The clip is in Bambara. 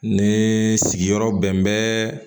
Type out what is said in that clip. Ni sigiyɔrɔ bɛn bɛ